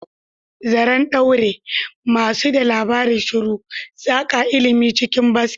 Zaren ɗaure, masu ba da labari shiru, saƙa ilimi cikin kaset.